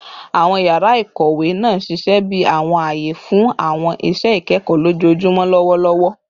Awọn yara ikowe naa ṣiṣẹ bi awọn aye fun awọn iṣẹ ikẹkọ lojoojumọ lọwọlọwọ